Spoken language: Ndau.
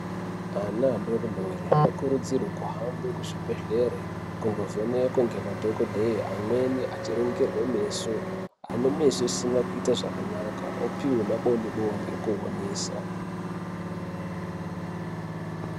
Ana adoredore anokurudzirwe kuhambe kuzvibhedhlere kundovhenekwe ngemadhokodheya. Amweni achiringirwe meso, ane meso asina kuite zvakanaka opihwe maboni boni okuonesa.